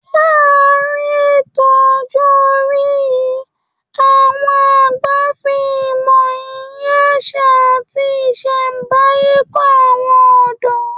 Láàárín ètò ọjọ́ orí yìí, àwọn àgbà fi ìmọ̀, iyì àṣà, àti ìṣẹ̀nbáyé kọ́ àwọn ọ̀dọ́